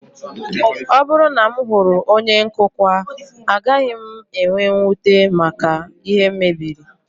Ọ bụrụ na m hụrụ onye nkụkwa, agaghị m enwe mwute maka ihe m mebiri